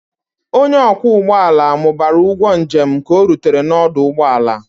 onye ọkwọ ụgbọ ala mụbara ụgwọ njem ka m rutere n'ọdụ ụgbọ ala